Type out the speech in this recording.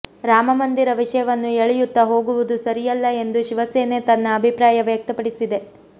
ರಾಮಮಂದಿರ ವಿಷವನ್ನು ಎಳೆಯುತ್ತಾ ಹೋಗುವುದು ಸರಿಯಲ್ಲ ಎಂದು ಶಿವಸೇನೆ ತನ್ನ ಅಭಿಪ್ರಾಯ ವ್ಯಕ್ತಪಡಿಸಿದೆ